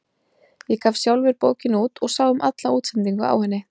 Ég gaf sjálfur bókina út og sá um alla útsendingu á henni.